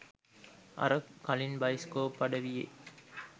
අර කලින් බයිස්කෝප් අඩවියේ